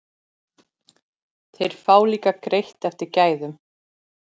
Þeir fá líka greitt eftir gæðum.